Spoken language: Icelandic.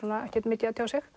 ekkert mikið að tjá sig